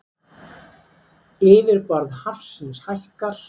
Yfirborð hafsins hækkar